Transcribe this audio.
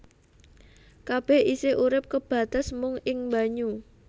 Kabèh isih urip kebates mung ing banyu